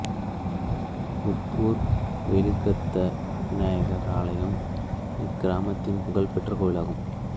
உப்பூர் வெயிலுகந்த விநாயகர் ஆலயம் இக்கிராமத்தின் புகழ் பெற்ற கோயிலாகும்